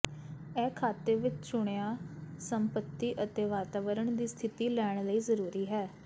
ਇਹ ਖਾਤੇ ਵਿੱਚ ਚੁਣਿਆ ਸੰਪਤੀ ਅਤੇ ਵਾਤਾਵਰਣ ਦੀ ਸਥਿਤੀ ਲੈਣ ਲਈ ਜ਼ਰੂਰੀ ਹੈ